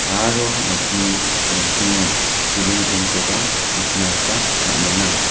aro nokni nokkingo siling pen koba nikna gita man·enga.